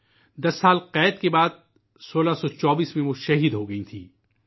دس سال کی قید کے بعد 1624میں انہیں شہید کر دیا گیا